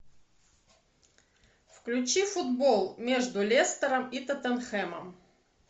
включи футбол между лестером и тоттенхэмом